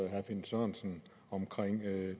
og herre finn sørensen om